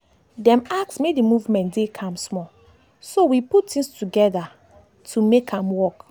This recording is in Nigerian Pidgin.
dem ask make dey movement dey calm small so we put things together things together to make am work.